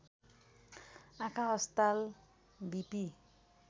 आँखा अस्पताल विपि